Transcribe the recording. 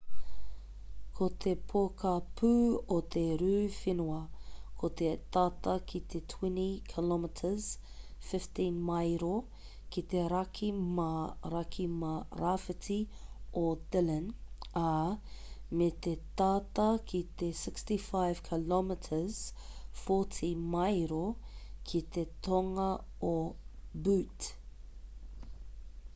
ko te pokapū o te rū whenua ko te tata ki te 20 km 15 maero ki te raki mā raki mā rāwhiti o dillon ā me te tata ki te 65 km 40 maero ki te tonga o butte